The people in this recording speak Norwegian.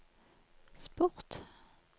sport